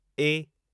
ए